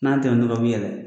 N'an tɛm'ula u bi yɛlɛ